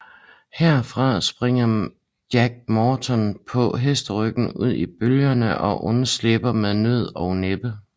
Herfra springer Jack Morton på hesteryggen ud i bølgerne og undslipper med nød og næppe